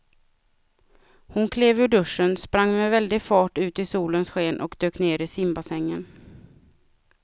Hon klev ur duschen, sprang med väldig fart ut i solens sken och dök ner i simbassängen.